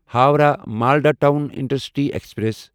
Howrah Malda town intercity express